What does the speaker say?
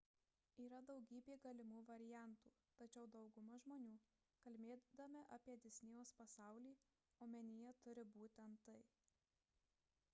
yra daugybė galimų variantų tačiau dauguma žmonių kalbėdami apie disnėjaus pasaulį omenyje turi būtent tai